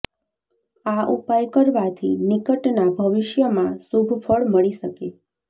આ ઉપાય કરવાથી નિકટના ભવિષ્યમાં શુભ ફળ મળી શકે